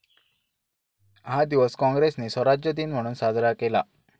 हा दिवस काँग्रेसने स्वराज्य दिन म्हणून साजरा केला.